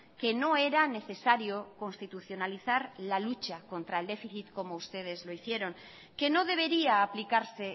que no era necesario constitucionalizar la lucha contra el déficit como ustedes lo hicieron que no debería aplicarse